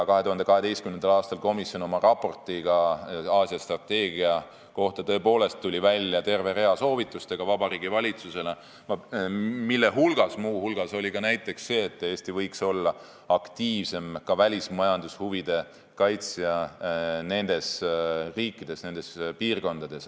2012. aastal komisjon oma raportis Aasia strateegia kohta tuli tõepoolest välja terve rea soovitustega Vabariigi Valitsusele, mille hulgas oli ka see, et Eesti võiks olla aktiivsem välismajandushuvide kaitsja nendes riikides ja piirkondades.